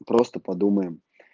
просто подумаем